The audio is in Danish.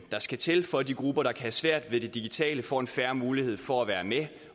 der skal til for at de grupper der kan have svært ved det digitale får en fair mulighed for at være med